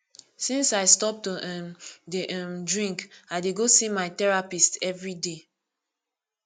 since i stop to um dey um drink i dey go see my therapist everyday